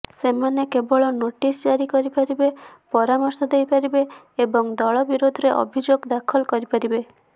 ସେମାନେ କେବଳ ନୋଟିସ ଜାରି କରିପାରିବେ ପରାମର୍ଶ ଦେଇପାରିବେ ଏବଂ ଦଳ ବିରୋଧରେ ଅଭିଯୋଗ ଦାଖଲ କରିପାରିବେ